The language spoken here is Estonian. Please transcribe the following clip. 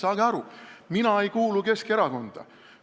Saage aru, mina ei kuulu Keskerakonda!